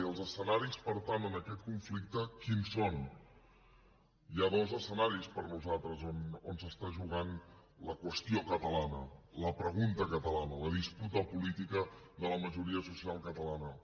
i els escenaris per tant en aquest conflicte quins són hi ha dos escenaris per nosaltres on es juga la qüestió catalana la pregunta catalana la disputa política de la majoria social catalana